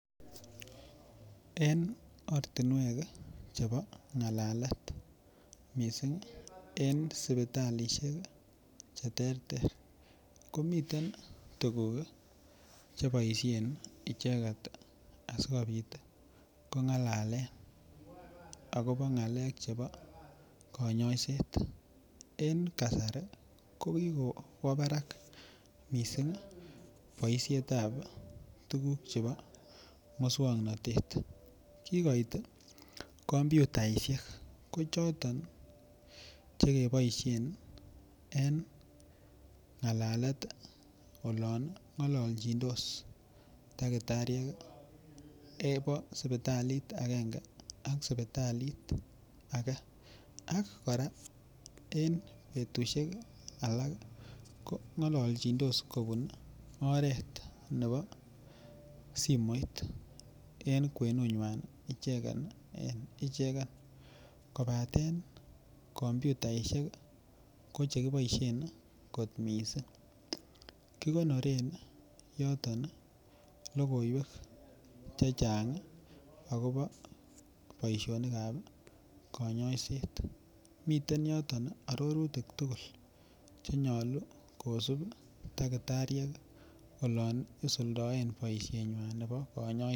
Eng ortinwek chebo ngalalet mising eng sipitalishek che ter ter komiten tukuk cheboishen icheket asikobit kongalalen akobo ng'alek chebo konyoiset eng kasari ko kikwo barak mising boishet ap tukuk chebo muswongnotet kikoit komputaishek ko choton chekeboishen en ngalalet olon ngolochindos dakitariek nebo sipitalit akenge ak sipitalit ake ak kora eng betushek alak ko ngalalchindos kobun oret nebo simoit en kwenut nyan icheket en icheken kobaten komputaishek ko chekiboishen kot missing kikonoren yoton lokoiwek che chang akobo boishonik ap konyoiset miten yoton arorutik tugul chenyolu kosup dakitariek olon isuldaen boishet nyan nebo konyoiset.